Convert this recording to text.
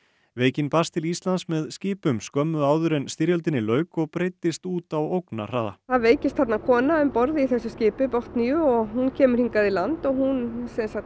veikin barst til Íslands með skipum skömmu áður en styrjöldinni lauk og breiddist út á ógnarhraða það veikist þarna kona um borð í þessu skipi Botniu og hún kemur í land og hún